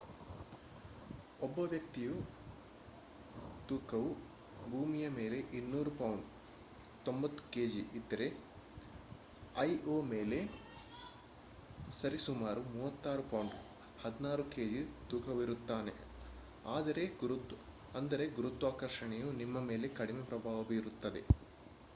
ಒಬ್ಬ ವ್ಯಕ್ತಿಯ ತೂಕವು ಭೂಮಿಯ ಮೇಲೆ 200 ಪೌಂಡ್ 90ಕೆಜಿ ಇದ್ದರೆ ಐಒ ಮೇಲೆ ಸರಿ ಸುಮಾರು 36 ಪೌಂಡ್ 16ಕೆಜಿ ತೂಕವಿರುತ್ತಾನೆ. ಅಂದರೆ ಗುರುತ್ವಾಕರ್ಷಣೆಯು ನಿಮ್ಮ ಮೇಲೆ ಕಡಿಮೆ ಪ್ರಭಾವ ಬೀರುತ್ತದೆ